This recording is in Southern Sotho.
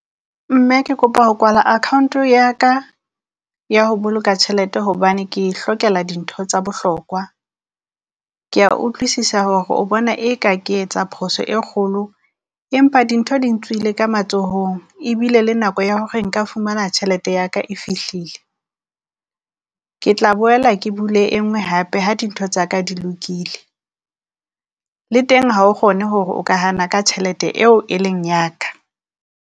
Mme ke kopa ho kwala account ya ka ya ho boloka tjhelete hobane ke e hlokela dintho tsa bohlokwa. Kea utlwisisa hore o bona e ka ke etsa phoso e kgolo, empa dintho di ntswile ka matsohong ebile le nako ya hore nka fumana tjhelete ya ka e fihlile. Ke tla boela ke bule e nngwe hape ha dintho tsa ka di lokile, le teng ha o kgone hore o ka hana ka tjhelete eo e leng ya ka.